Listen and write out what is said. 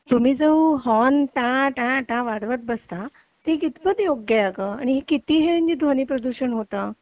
तुम्ही जो हॉर्न ट्या ट्या ट्या वाजवत बसता ते कितपत योग्य आहे अगं आणि याच्याने किती ध्वनी प्रदूषण होतं